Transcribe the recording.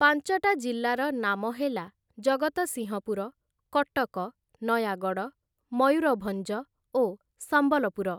ପାଞ୍ଚଟା ଜିଲ୍ଲାର ନାମ ହେଲା ଜଗତସିଂହପୁର, କଟକ, ନୟାଗଡ଼, ମୟୂରଭଞ୍ଜ ଓ ସମ୍ବଲପୁର ।